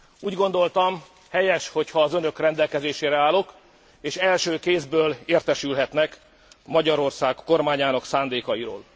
Úgy gondoltam, helyes, hogyha az önök rendelkezésére állok, és első kézből értesülhetnek Magyarország kormányának szándékáról.